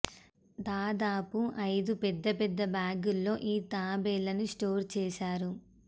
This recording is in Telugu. దాదాపు అయిదు పెద్ద పెద్ద బ్యాగుల్లో ఈ తాబేళ్లను స్టోర్ చేశారు